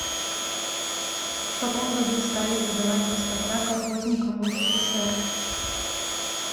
в каком году стали выдавать паспорта колхозникам в ссср